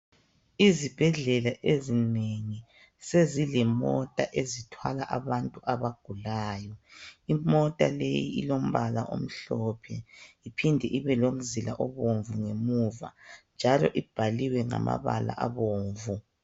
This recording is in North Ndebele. Izibhedlela ezinengi sezilemota ezithwala abantu abagulayo. Imota leyi ilombala omhlophe iphinde ibelomzila obomvu ngemuva njalo ibhaliwe ngamabala abomvu.